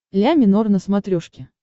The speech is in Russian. ля минор на смотрешке